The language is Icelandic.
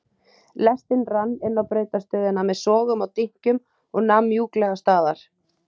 Lestin rann inná brautarstöðina með sogum og dynkjum og nam mjúklega staðar.